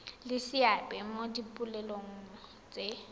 le seabe mo dipoelong tse